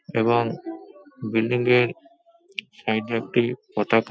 এবং বিল্ডিং -এর সাইড -এ একটি পতাকা--